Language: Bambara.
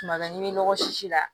Tuma ɲini nɔgɔsi la